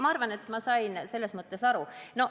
Ma arvan, et ma sain aru.